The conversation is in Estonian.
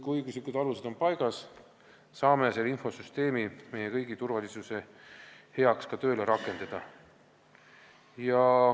Kui õiguslikud alused on paigas, saame selle infosüsteemi meie kõigi turvalisuse heaks ka tööle rakendada.